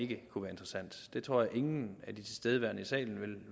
det kunne være interessant det tror jeg ingen af de tilstedeværende i salen